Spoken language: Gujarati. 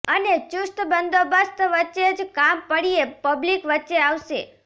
અને ચુસ્ત બંદોબસ્ત વચ્ચે જ કામ પડ્યે પબ્લિક વચ્ચે આવશે